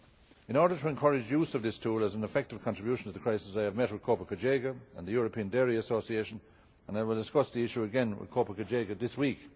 In order to encourage use of this tool as an effective contribution to the crisis, I have met with COPA COGECA and the European Dairy Association and I will discuss the issue again with COPA COGECA this week.